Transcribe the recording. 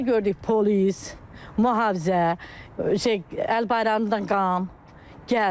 Onda gördük polis, mühafizə, şey əlbayramlıdan qan gəldi.